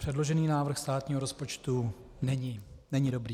Předložený návrh státního rozpočtu není dobrý.